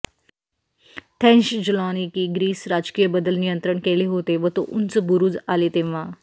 Thessaloniki Greece राजकीय बदल नियंत्रण केले होते व तो उंच बुरुज आले तेव्हा